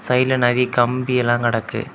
சைடுல நிறைய கம்பி எல்லாம் கிடக்கு.